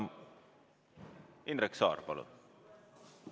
Indrek Saar, palun!